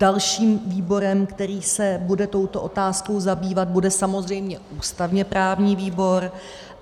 Dalším výborem, který se bude touto otázkou zabývat, bude samozřejmě ústavně-právní výbor.